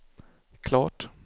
klart